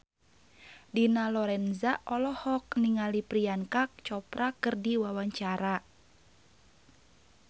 Dina Lorenza olohok ningali Priyanka Chopra keur diwawancara